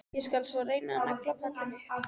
Ég skal svo reyna að negla pallinn upp.